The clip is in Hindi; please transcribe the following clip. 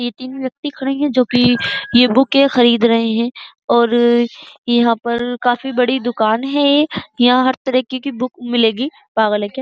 तीन-तीन व्यक्ति खड़े है जो कि यह बुके खरीद रहे है। और यहां पर काफी बड़ी दुकान हैं। यहां हर तरह की बुक मिलेगी। पागल है क्या।